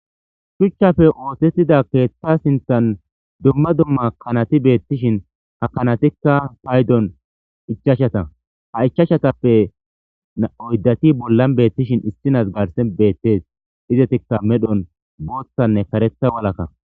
shuchchafe oohthetida keethta sinthan dumma dumma kanati beettishin ha kanatikka paydon ichashata ha ichashatappe na7oydati bollan beettishin istinas garsen beettes izetikka medhon booththanne karetha walakka